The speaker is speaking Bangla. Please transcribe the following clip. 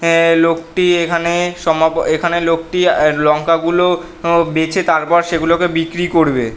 অ্যা লোকটি এখানে সমাপ এখানে লোকটি আ লঙ্কা গুলো উ বেছে তার পর সেগুলোকে বিক্রি করবে ।